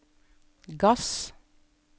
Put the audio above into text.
gass